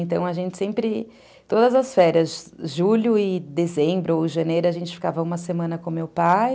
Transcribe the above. Então, a gente sempre, todas as férias, julho e dezembro ou janeiro, a gente ficava uma semana com meu pai.